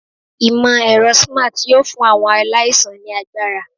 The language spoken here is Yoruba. Imọ-ẹrọ Smart yoo fun awọn alaisan ni agbara